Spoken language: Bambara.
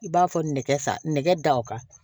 I b'a fɔ nɛgɛ sa nɛgɛ da o kan